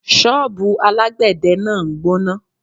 Ṣọ́bùù alágbè de náà ń gbóná.